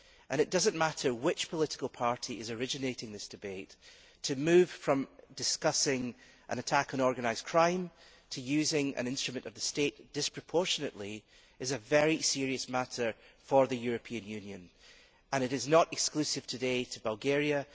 It does not matter which political party is originating this debate, to move from discussing an attack on organised crime to using an instrument of the State disproportionately is a very serious matter for the European Union and it is not exclusive today to Bulgaria.